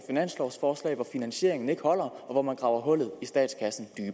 finanslovforslag hvor finansieringen ikke holder og hvor man graver hullet i statskassen